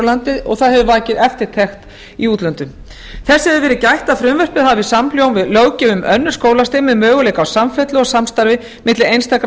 landi og það hefur vakið eftirtekt í útlöndum þess hefur verið gætt að frumvarpið hafi samhljóm við löggjöf um önnur skólastig með möguleika á samfellu og samstarfi milli einstakra